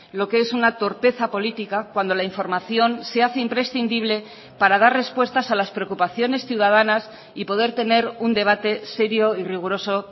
lo que es una torpeza política cuando la información se hace imprescindible para dar respuestas a las preocupaciones ciudadanas y poder tener un debate serio y riguroso